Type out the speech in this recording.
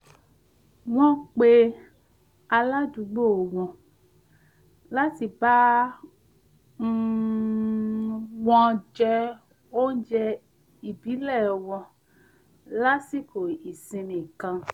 wọ́n pe aládùúgbò wọn láti wá bá um wọn jẹ oúnjẹ ìbílẹ̀ wọn lásìkò ìsinmi kan